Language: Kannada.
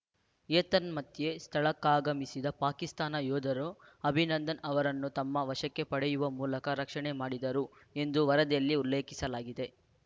ಏತನ್ಮಧ್ಯೆ ಸ್ಥಳಕ್ಕಾಗಮಿಸಿದ ಪಾಕಿಸ್ತಾನ ಯೋಧರು ಅಭಿನಂದನ್‌ ಅವರನ್ನು ತಮ್ಮ ವಶಕ್ಕೆ ಪಡೆಯುವ ಮೂಲಕ ರಕ್ಷಣೆ ಮಾಡಿದರು ಎಂದು ವರದಿಯಲ್ಲಿ ಉಲ್ಲೇಖಿಸಲಾಗಿದೆ